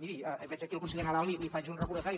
miri veig aquí el conseller nadal i li faig un recordatori